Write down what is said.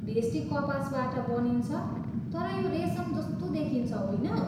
भेस्टी कपासबाट बनिन्छ, तर यो रेसम जस्तो देखिन्छ, होइन?